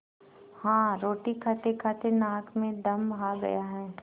हाँ रोटी खातेखाते नाक में दम आ गया है